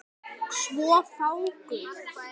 Svo fáguð.